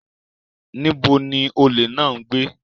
Níbo ni olè náà ń gbé?